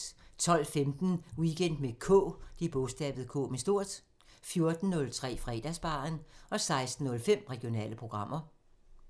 12:15: Weekend med K 14:03: Fredagsbaren 16:05: Regionale programmer